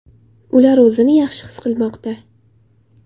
Ular o‘zini yaxshi his qilmoqda.